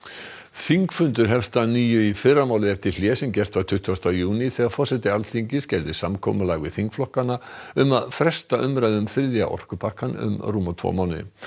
þingfundur hefst að nýju í fyrramálið eftir hlé sem gert var á tuttugasta júní þegar forseti Alþingis gerði samkomulag við þingflokkana um að fresta umræðu um þriðja orkupakkann um rúma tvo mánuði